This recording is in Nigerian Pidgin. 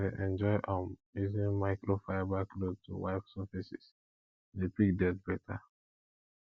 i dey enjoy um using microfiber cloth to wipe surfaces e dey pick dirt beta